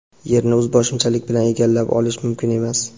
Yerni o‘zboshimchalik bilan egallab olish mumkin emas.